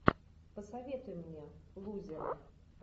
посоветуй мне лузеры